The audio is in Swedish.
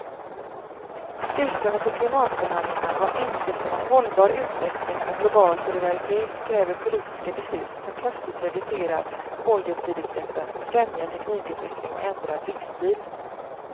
Ursprunget till klimatförhandlingarna var insikten att hållbar utveckling och global solidaritet kräver politiska beslut som kraftigt reducerar koldioxidutsläppen och främjar teknikutveckling och ändrad livsstil.